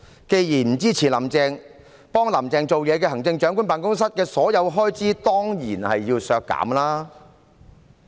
既然不支持"林鄭"，協助"林鄭"做事的特首辦的所有開支，當然要削減。